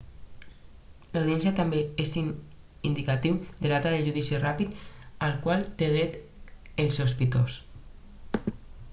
l'audiència també és un indicatiu de la data del judici ràpid al qual té dret el sospitós